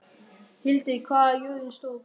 Hildir, hvað er jörðin stór?